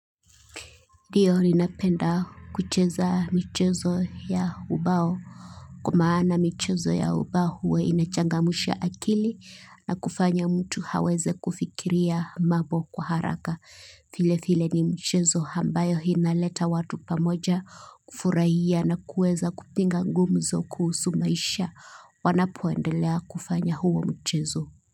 Ndio ninapenda kucheza michezo ya ubaok wa sababu michezo ya ubao hufanya mtu aweze kufikiria kwa haraka vilevile ni mchezo ambayo unaleta watu pamoja kufurahia na kuweza kupiga gumzo kuhusu maisha wanapoendelea kufanya huo mchezo.